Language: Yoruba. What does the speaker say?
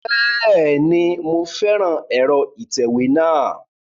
Bẹ́ẹ̀ni, mo fẹ́ran ẹ̀rọ ìtẹ̀wé náà